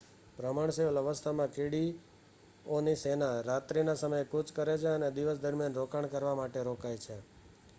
ભ્રમણશીલ અવસ્થામાં કીડીઓની સેના રાત્રિના સમયે કૂચ કરે છે અને દિવસ દરમિયાન રોકાણ કરવા માટે રોકાય છે